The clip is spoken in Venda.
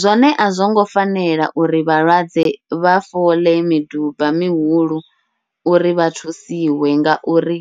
Zwone a zwongo fanela uri vhalwadze vha foḽe miduba mihulu uri vha thusiwe, ngauri